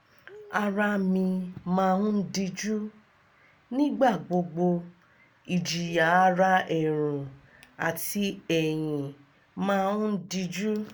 ara mi máa ń díjú nígbà gbogbo ìjìyà ara ẹ̀rùn àti ẹ̀yìn máa ń díjú